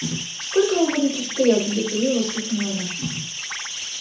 сколько мы будем тут стоять нетерпеливо воскликнула она